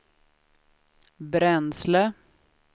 bränsle